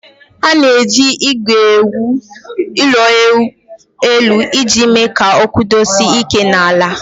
A na-eji ígwè ewu ụlọelu iji mee ka ọ kwụdosie ike n'ala